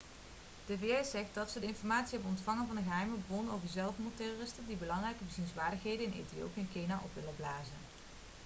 de vs zegt dat ze informatie hebben ontvangen van een geheime bron over zelfmoordterroristen die belangrijke bezienswaardigheden in ethiopië en kenia op willen blazen